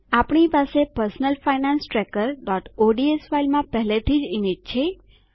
આપણી પાસે personal finance trackerઓડ્સ ફાઈલમાં પહેલાથીજ ઈમેજ છે